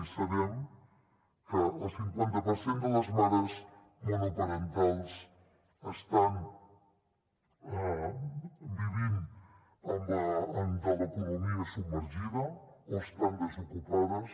i sabem que el cinquanta per cent de les mares monoparentals estan vivint de l’economia submergida o estan desocupades